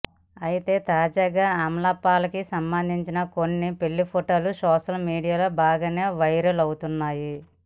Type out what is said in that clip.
అయితే తాజాగా అమలాపాల్ కి సంబంధించిన కొన్ని పెళ్లి ఫోటోలు సోషల్ మీడియాలో బాగానే వైరల్ అవుతున్నాయి